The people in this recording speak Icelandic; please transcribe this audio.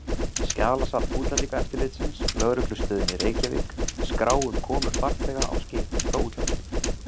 Skjalasafn útlendingaeftirlitsins, lögreglustöðinni Reykjavík, skrá um komur farþega á skipum frá útlöndum.